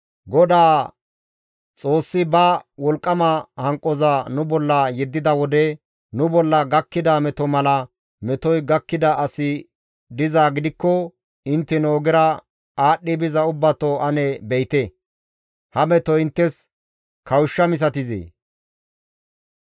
«Godaa Xoossi ba wolqqama hanqoza nu bolla yeddida wode nu bolla gakkida meto mala metoy gakkida asi dizaa gidikko intteno ogera aadhdhi biza ubbato ane be7ite! Ha metoy inttes kawushsha misatizee?